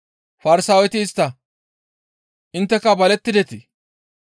Farsaaweti istta, «Intteka balettidetii?